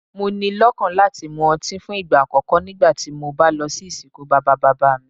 Mo ni lọ́kàn láti mu ọtí fún ìgbà àkókó nígbàtí mo bá lọ sí ìsìnkú bàbá-bàbá mi.